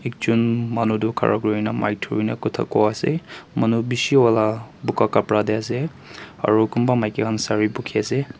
ekjon manu tu khara kurina mic thurina kotha koi ase manu bishi wala buga kapra te ase aro kunba maiki khan sari bukhi ase.